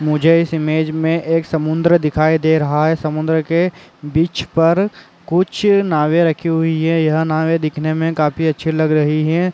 मुझे इस इमेज में एक समुन्द्र दिखाई दे रहा है समुन्द्र के बिच पर कुछ नावे रखी हुई है यह नावे दिखने में काफी अच्छी लग रही हैं।